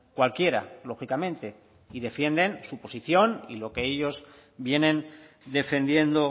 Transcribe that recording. cualquiera lógicamente y defienden su posición y lo que ellos vienen defendiendo